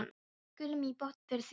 Við skálum í botn fyrir því.